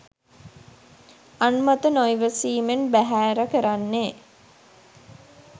අන් මත නොයිවසීමෙන් බෑහෑර කරන්නේ?